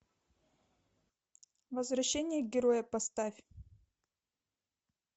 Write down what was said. возвращение героя поставь